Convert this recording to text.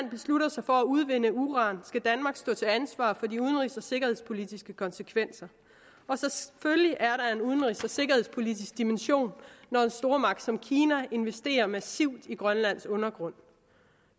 sig for at udvinde uran skal danmark stå til ansvar for de udenrigs og sikkerhedspolitiske konsekvenser og udenrigs og sikkerhedspolitisk dimension når en stormagt som kina investerer massivt i grønlands undergrund